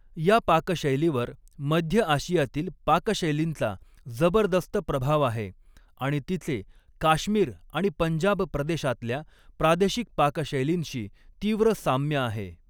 या पाकशैलीवर मध्य आशियातील पाकशैलींचा जबरदस्त प्रभाव आहे आणि तिचे काश्मीर आणि पंजाब प्रदेशातल्या प्रादेशिक पाकशैलींशी तीव्र साम्य आहे.